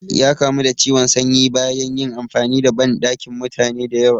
Ya kamu da ciwon sanyi bayan yin amfani da banɗakin mutane da yawa